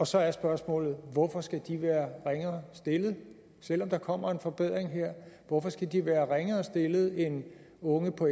så er spørgsmålet hvorfor skal de være ringere stillet selv om der kommer en forbedring her hvorfor skal de så være ringere stillet end unge på